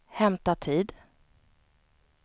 hämta tid